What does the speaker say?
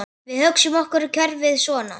Við hugsum okkur kerfið svona